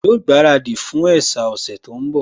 Yóò gbaradì fún ẹ̀sà ọ̀sẹ̀ tó ń bọ̀